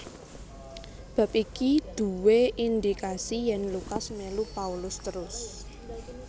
Bab iki duwé indikasi yèn Lukas mélu Paulus terus